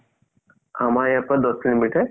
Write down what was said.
আমাৰ ইয়াৰ পৰা দহ kilometer